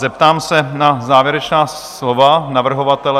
Zeptám se na závěrečné slovo navrhovatele?